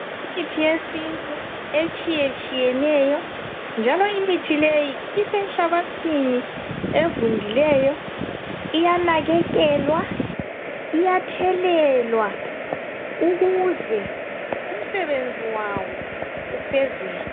Imithi yesintu etshiyetshiyeneyo njalo Imithi le isenhlabathini evundileyo iyanakekelwa iyathelelwa ukuze umsebenzi wawo ufezeke.